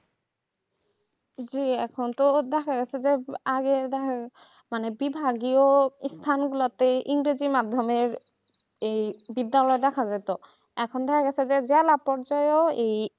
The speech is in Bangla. জি এখন তো দেখা যাচ্ছে যে আগেকার বিভাগীয় স্থানের মাধ্যমে ইংরেজি ও মাধ্যমে বিদ্যালয় দেখা যেত এখন তাহলে দেখা যাচ্ছে ওই